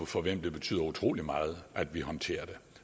for hvem det betyder utrolig meget at vi håndterer det